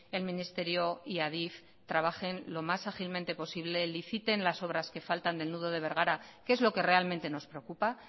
el ministerio y adif trabajen lo más ágilmente posible liciten las obras que faltan del nudo de bergara que es lo que realmente nos preocupa